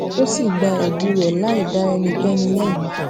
ó sì gba èbi rè láì dá ẹnikéni lébi